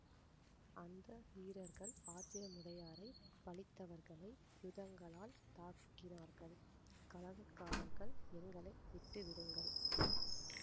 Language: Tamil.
அந்த வீரர்கள் ஆந்திரமுடையாரைப் பழித்தவர்களை யுதங்களால் தாக்கினார்கள் கலகக்காரர்கள் எங்களை விட்டுவிடுங்கள்